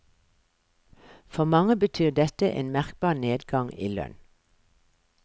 For mange betyr dette en merkbar nedgang i lønn.